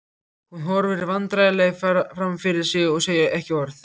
Hún horfir vandræðalega fram fyrir sig og segir ekki orð.